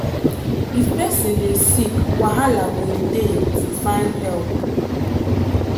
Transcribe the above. if person dey sick wahala go dey to find help.